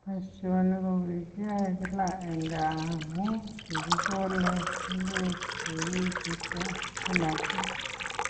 Boisioni ko kigiyoe kila eng gaa amu kigikole ingwek cheu chutok spinach